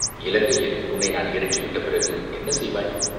இலங்கையில் உன்னை நான் இறக்கிவிட்ட பிறகு என்ன செய்வாய்?